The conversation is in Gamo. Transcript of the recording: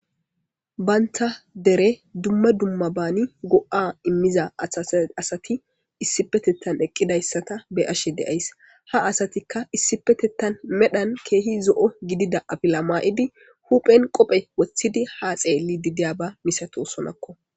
bayntha dere dumma dumma baani go7a immiza athasa asati issipetettan eqqidayssata be7ashe de7ays ha asatikka issipetettan medhan keehi zo7o gidida afila maa7idi huphen qophe woththidi ha xeelli didiya ba misatosonakko